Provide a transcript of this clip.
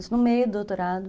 Isso no meio do doutorado.